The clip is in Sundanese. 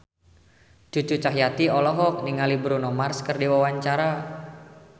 Cucu Cahyati olohok ningali Bruno Mars keur diwawancara